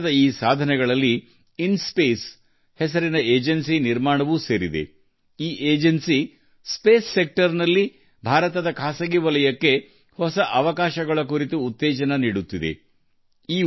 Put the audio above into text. ದೇಶದ ಈ ಸಾಧನೆಗಳಲ್ಲಿ ಇನ್ಸ್ಪೇಸ್ ಹೆಸರಿನ ಏಜೆನ್ಸಿಯ ರಚನೆಯೂ ಒಂದು ಭಾರತದ ಖಾಸಗಿ ವಲಯಕ್ಕೆ ಬಾಹ್ಯಾಕಾಶ ಕ್ಷೇತ್ರದಲ್ಲಿ ಹೊಸ ಅವಕಾಶಗಳನ್ನು ಉತ್ತೇಜಿಸುವ ಏಜೆನ್ಸಿ ಇದು